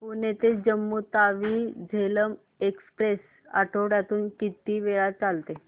पुणे ते जम्मू तावी झेलम एक्स्प्रेस आठवड्यातून किती वेळा चालते